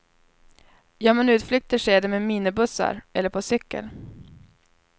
Gör man utflykter sker det med minibussar eller på cykel.